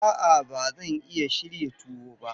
A'a, ba zan iya shirya tuwo ba.